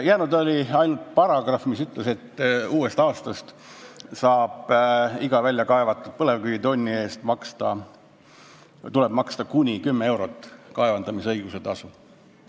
Jäänud oli ainult paragrahv, mis ütles, et uuest aastast tuleb iga väljakaevatud põlevkivitonni eest maksta kuni 10 eurot kaevandamisõiguse tasu.